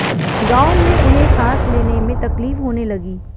गांव में उन्हें सांस लेने में तकलीफ होने लगी